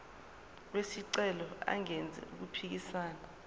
wesicelo engenzi okuphikisana